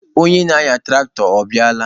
Onye na-anya tụraktọ, ọ bịala?